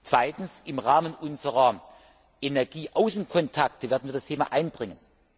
Zweitens Im Rahmen unserer Energieaußenkontakte werden wir das Thema einbringen.